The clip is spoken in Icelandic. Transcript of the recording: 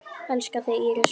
Elska þig, Íris Rún.